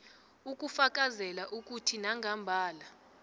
ukufakazela ukuthi nangambala